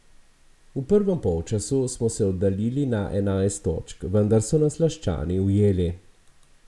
V prvem polčasu smo se oddaljili na enajst točk, vendar so nas Laščani ujeli.